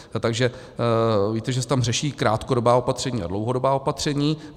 Takže víte, že se tam řeší krátkodobá opatření a dlouhodobá opatření.